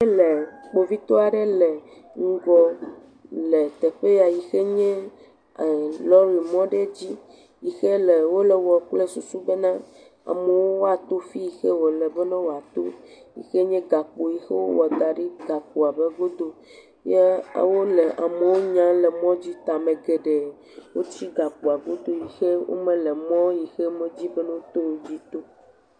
Wole kpovitɔ aɖew le ŋgɔ le teƒe yi ke nye lɔri mɔ aɖe dzi yi ke wole ewɔm kple susu be amewo woato teƒe yi ke wole be woato yi ke nye gakpo yi ke wowɔ da ɖi yi ke nye gakpoa dogo ye wole amewo nya le mɔ dzi ta ame geɖee wotsi gakpoa godo le mɔ si dzi mele be woato o la dzi tom.